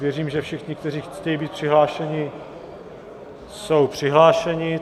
Věřím, že všichni, kteří chtějí být přihlášeni, jsou přihlášeni.